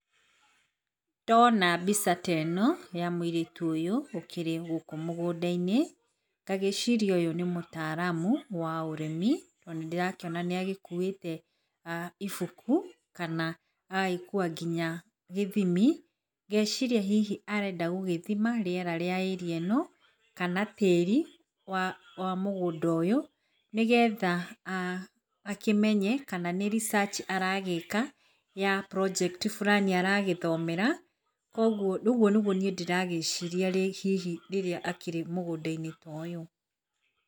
Ndona mbica ta ĩno ya mũirĩtu ũyũ ũkĩrĩ gũkũ mũgũnda -inĩ, ngagĩciria ũyũ nĩ mũtaramu wa ũrĩmi, tondũ nĩ ndĩrakĩona nĩagĩkuĩte ibuku kana agagĩkua nginya gĩthimi. Ngeciria hihi arenda gũgĩthima rĩera rĩa area ĩno kana tĩri wa mũgũnda ũyũ, nĩgetha aah akĩmenye kana nĩ research aragĩka ya project fulani aragĩka aragĩthomera. Koguo ũguo nĩguo ndĩragĩciria hihi rĩrĩa akĩrĩ mũgũnda-inĩ ta ũyũ.